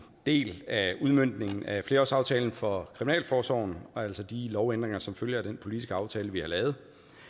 del af udmøntningen af flerårsaftalen for kriminalforsorgen altså de lovændringer som følger af den politiske aftale vi har lavet